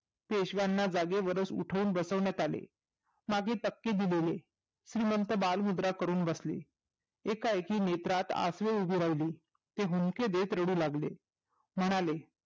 पेशव्यांना जागेवरच उठवून बसवण्यात आले मागे तपकी दिलेले श्रीमंत बालमुद्रा करून बसले एकाएकी नेत्रात असू उभे राहिली ते हुंदके देत रडू लागले म्हणाले